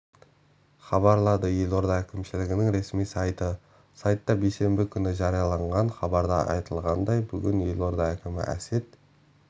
хабарлады елорда әкімшілігінің ресми сайты сайтта бейсенбі күні жарияланған хабарда айтылғандай бүгін елорда әкімі әсет